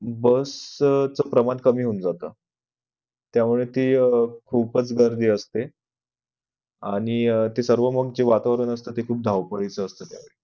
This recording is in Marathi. Bus च प्रमाण कमी होऊन जात त्यामुळे ती खूपच गर्दी असते आणि ती सर्व जे वातावरण असत ते खूप धावपळीच असत त्या वेळी